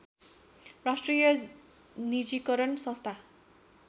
राष्ट्रिय निजीकरण संस्था